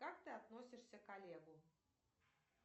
как ты относишься к олегу